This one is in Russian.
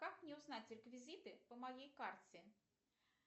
как мне узнать реквизиты по моей карте